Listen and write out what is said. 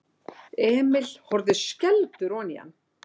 Emil horfði skelfdur oní hann.